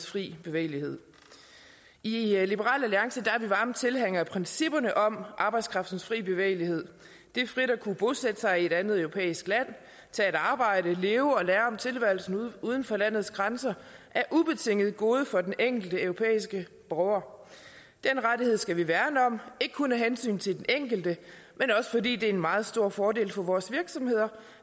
fri bevægelighed i liberal alliance er vi varme tilhængere af principperne om arbejdskraftens fri bevægelighed det frit at kunne bosætte sig i et andet europæisk land tage et arbejde leve og lære om tilværelsen uden for landets grænser er ubetinget et gode for den enkelte europæiske borger den rettighed skal vi værne om ikke kun af hensyn til den enkelte men også fordi det er en meget stor fordel for vores virksomheder